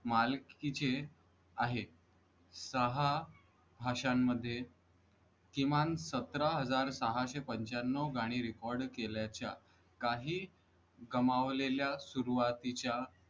मालकीचे आहेत. दहा भाषांमध्ये किमान सतरा हजार सहाशे पणचयानन्व गाणी record केल्याच्या काही कमावलेल्या सुरवातीच्या